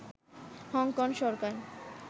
Hong Kong Sarkar